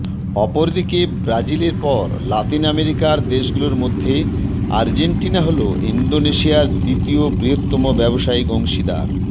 অপরদিকে ব্রাজিল এর পর লাতিন আমেরিকার দেশগুলোর মধ্যে আর্জেন্টিনা হল ইন্দোনেশিয়ার দ্বিতীয় বৃহত্তম ব্যবসায়িক অংশীদার